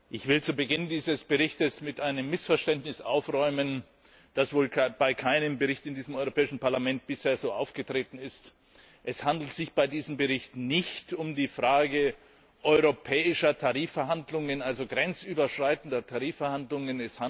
Ich will zu Beginn dieses Berichts mit einem Missverständnis aufräumen, das wohl bei keinem Bericht in diesem Europäischen Parlament bisher so aufgetreten ist. Es handelt sich bei diesem Bericht nicht um die Frage europäischer Tarifverhandlungen, also grenzüberschreitender Tarifverhandlungen.